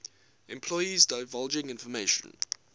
employees divulging information